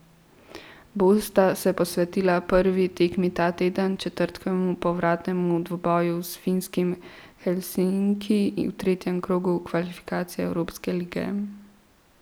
Bolj sta se posvetila prvi tekmi ta teden, četrtkovemu povratnemu dvoboju s finskimi Helsinki v tretjem krogu kvalifikacij evropske lige.